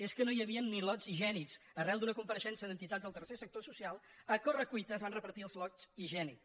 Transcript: és que no hi havia ni lots higiènics arran d’una compareixença d’entitats del tercer sector social a corre·cuita es van repartir els lots higiènics